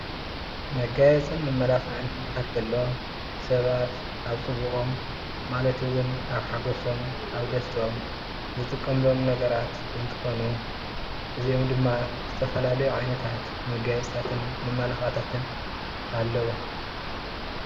መጋየፅን መማላኽዕን ክበሃል ከሎ ሰባት ኣብ ፅቡቆም ማለት እውን ኣብ ሓጎሶም ኣብ ደስትኦም ዝጥቀምሎም ነገራት እንትኾኑ ፤እዚኦም ድማ ዝተፈላለዩ ዓይነታት መጋየፅታትን መማላክዕታትን ኣለው፡፡